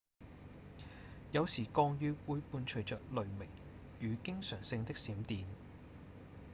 有時降雨會伴隨著雷鳴與經常性的閃電